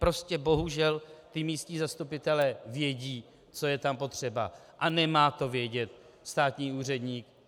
Prostě bohužel ti místní zastupitelé vědí, co je tam potřeba, a nemá to vědět státní úředník.